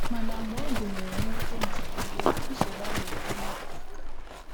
Mana mgbe ọ gụnyere mwute maọbụ iwe, nsogbu ahụ nwere ịnọte aka.